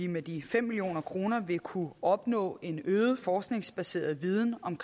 med de fem million kroner vil kunne opnå en øget forskningsbaseret viden om